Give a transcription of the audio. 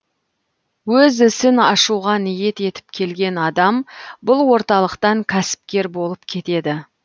өз ісін ашуға ниет етіп келген адам бұл орталықтан кәсіпкер болып кетеді